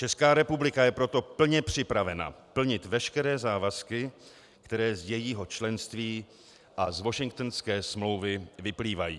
Česká republika je proto plně připravena plnit veškeré závazky, které z jejího členství a z Washingtonské smlouvy vyplývají.